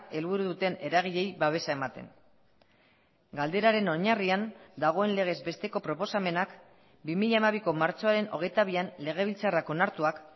helburu duten eragileei babesa ematen galderaren oinarrian dagoen legez besteko proposamenak bi mila hamabiko martxoaren hogeita bian legebiltzarrak onartuak